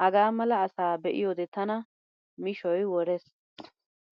Hagaa mala asaa be'iyoode tana mishoy worees.